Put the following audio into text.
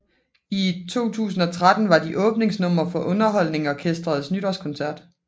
I 2013 var de åbningsnummer for UnderholdningsOrkestrets Nytårskoncert